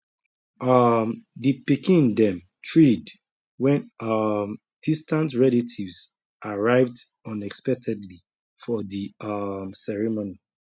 um di pikin dem thrilled wen um distant relatives arrived unexpectedly for di um ceremony